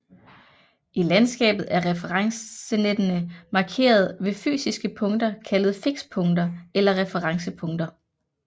I landskabet er referencenettene markeret ved fysiske punkter kaldet fikspunkter eller referencepunkter